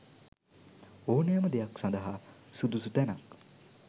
ඕනෑම දෙයක් සඳහා සුදුසු තැනක්